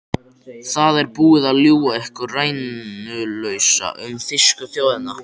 Það er búið að ljúga ykkur rænulausa um þýsku þjóðina.